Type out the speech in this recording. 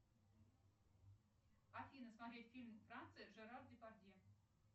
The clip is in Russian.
афина смотреть фильм франция жерар депардье